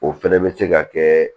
O fɛnɛ bɛ se ka kɛ